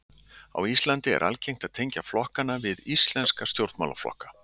Á Íslandi er algengt að tengja flokkana við íslenska stjórnmálaflokka.